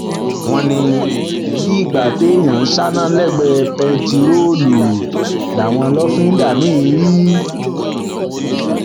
wọn ní bíi ìgbà téèyàn ń ṣáná lẹgbẹẹ bẹntiróòlù làwọn lọfíńdà míín rí